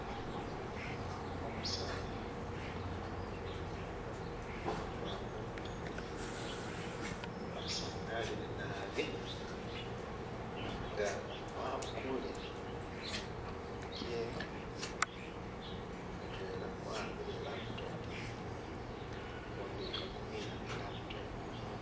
Umusaani uwarura bunwanwa, wasangalile nabi nga wabukule kimikhono kyewe, mutwela kwahambile i'laptop, kukundi khakumiina i'laptop.